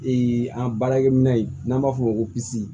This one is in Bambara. an baarakɛminɛn n'an b'a fɔ o ma ko pisi